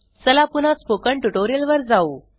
चला पुन्हा spoken tutorial वर जाऊ